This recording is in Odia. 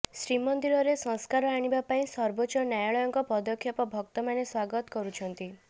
ଶ୍ରୀମନ୍ଦିରରେ ସଂସ୍କାର ଆଣିବା ପାଇଁ ସର୍ବୋଚ୍ଚ ନ୍ୟାୟାଳୟଙ୍କ ପଦକ୍ଷେପ ଭକ୍ତମାନେ ସ୍ୱାଗତ କରୁଛନ୍ତି